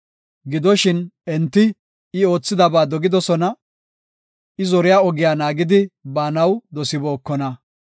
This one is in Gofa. Gidoshin, enti I oothidaba dogidosona; I zoriya ogiya naagidi baanaw dosibookona.